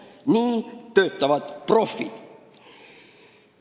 Nii töötavad profid.